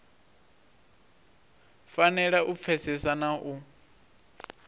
fanela u pfesesa na u